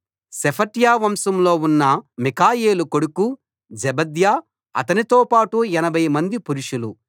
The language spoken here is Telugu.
షెఫట్య వంశంలో ఉన్న మిఖాయేలు కొడుకు జెబద్యా అతనితో పాటు 80 మంది పురుషులు